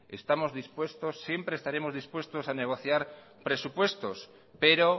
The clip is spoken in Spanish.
siempre estaremos dispuestos a negociar presupuestos pero